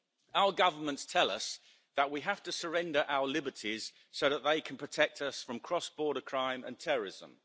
Our governments tell us that we have to surrender our liberties so that they can protect us from cross-border crime and terrorism.